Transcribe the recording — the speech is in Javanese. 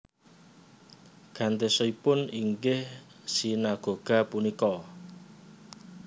Gantosipun inggih sinagoga punika